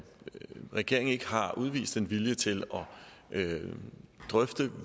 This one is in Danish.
regeringen ikke har udvist en vilje til at drøfte